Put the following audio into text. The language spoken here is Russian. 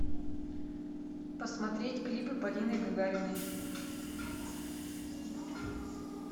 посмотреть клипы полины гагариной